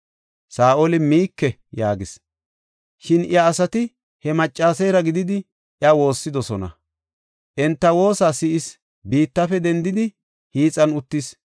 Saa7oli, “Miike” yaagis. Shin iya asati he maccaseera gididi iya woossidosona; enta woosa si7is; biittafe dendidi hiixan uttis.